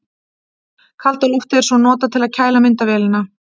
Kalda loftið er svo notað til að kæla myndavélina.